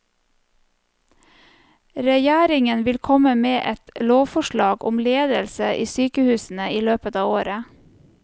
Regjeringen vil komme med et lovforslag om ledelse i sykehusene i løpet av året.